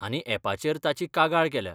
आनी यॅपाचेर ताची कागाळ केल्या.